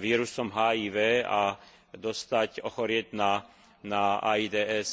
vírusom HIV a ochorieť na AIDS.